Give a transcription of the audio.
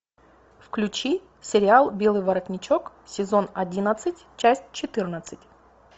включи сериал белый воротничок сезон одиннадцать часть четырнадцать